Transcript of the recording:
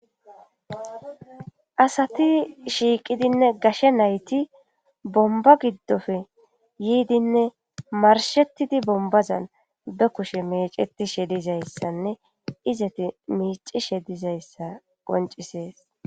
asati shiiqidinne gashe nayti bomba giddofe yiidinne marshettidi bombazan be kushe mecetishe dizayssanne izeti miicishe dizayssa qoncisees